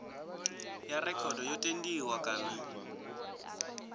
ya rekhodo yo tendiwa kana